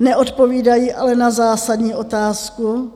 Neodpovídají ale na zásadní otázku,